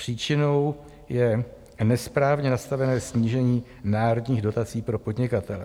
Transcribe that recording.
Příčinou je nesprávně nastavené snížení národních dotací pro podnikatele.